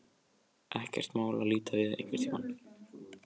Ekkert mál að líta við einhvern tíma.